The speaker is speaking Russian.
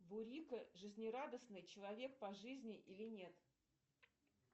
бурико жизнерадостный человек по жизни или нет